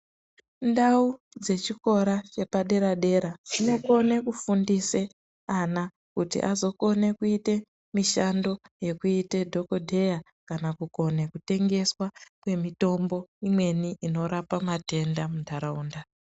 Ndau dzechikora padera dera dzinokona kufundisa ana kuti zokhone kuite mishando yekuita dhokotera kana kukone kutengeswa kwemitombo imweni inorapa matenda munharaunda.